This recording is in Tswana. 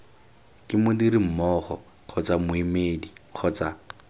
ke modirimmogo kgotsa moemedi kgotsa